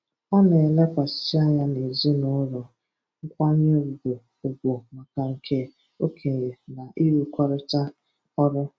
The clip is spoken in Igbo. Ọ na-elekwasị anya n'ezinụụlọ, nkwanye ugwu ugwu maka ndị okenye, na ịrụkọrịta ọrụ.